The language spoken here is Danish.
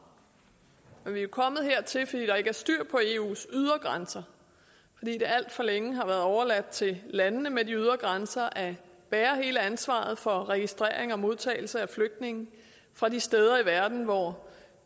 vi er jo kommet hertil fordi der ikke er styr på eus ydre grænser fordi det alt for længe har været overladt til landene med de ydre grænser at bære hele ansvaret for registrering og modtagelse af flygtninge fra de steder i verden hvor